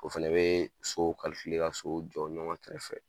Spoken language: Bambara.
O fɛnɛ bɛ sow ka sow jɔ ɲɔgɔn kɛrɛfɛ.